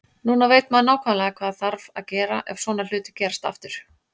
Núna veit maður nákvæmlega hvað þarf að gera ef svona hlutir gerast aftur.